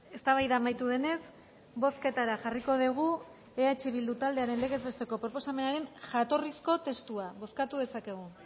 eztabaida amaitu denez bozketara jarriko degu eh bildu taldearen legez besteko proposamenaren jatorrizko testua bozkatu dezakegu